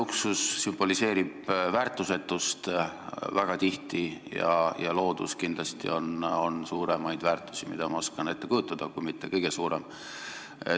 Luksus sümboliseerib väga tihti väärtusetust ja loodus kindlasti on üks suuremaid väärtusi, mida ma oskan ette kujutada, kui mitte kõige suurem.